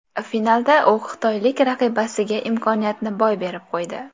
Finalda u xitoylik raqibasiga imkoniyatni boy berib qo‘ydi.